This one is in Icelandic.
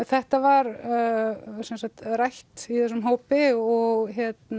þetta var rætt í þessum hópi og